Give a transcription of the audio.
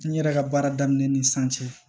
N yɛrɛ ka baara daminɛ ni san cɛ